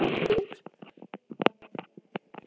Gangi þér allt í haginn, Hlöður.